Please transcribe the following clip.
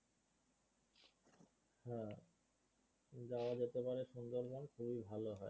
যাওয়া যেতে পারে সুন্দরবন খুবই ভালো হয়